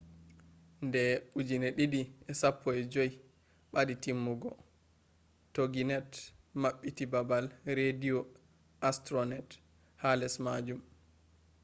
de 2015 badi timmugo toginet mabbiti babal rediyo astronet ha les majum